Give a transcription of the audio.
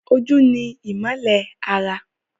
Ojú ni ìmọ́lẹ̀ ara